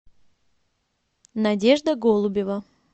надежда голубева